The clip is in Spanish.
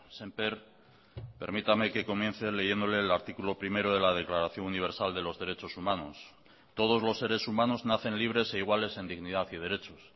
sémper permítame que comience leyéndole el artículo primero de la declaración universal de los derechos humanos todos los seres humanos nacen libres e iguales en dignidad y derechos